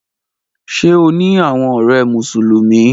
Ṣe o ni awọn ọrẹ Musulumi?